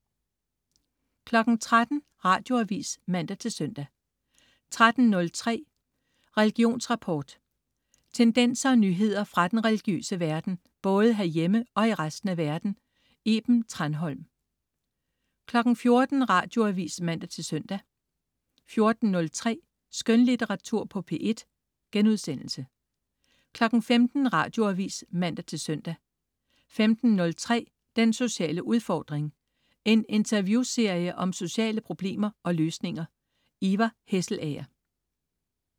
13.00 Radioavis (man-søn) 13.03 Religionsrapport. Tendenser og nyheder fra den religiøse verden, både herhjemme og i resten af verden. Iben Thranholm 14.00 Radioavis (man-søn) 14.03 Skønlitteratur på P1* 15.00 Radioavis (man-søn) 15.03 Den sociale udfordring. En interviewserie om sociale problemer og løsninger. Ivar Hesselager